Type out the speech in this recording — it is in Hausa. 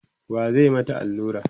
wa zai mata Alura?